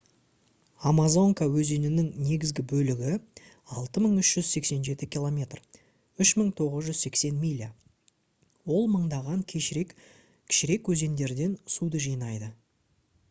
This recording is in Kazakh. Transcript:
амазонка өзенінің негізгі бөлігі — 6387 км 3980 миля. ол мыңдаған кішірек өзендерден суды жинайды